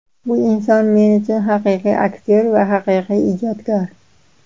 Bu inson men uchun haqiqiy aktyor va haqiqiy ijodkor.